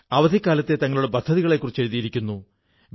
അവധിക്കാലത്തെ തങ്ങളുടെ പദ്ധതികളെക്കുറിച്ച് എഴുതിയിരിക്കുന്നു